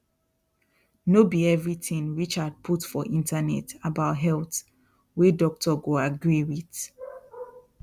no be everything richard put for internet about health wey doctor go agree with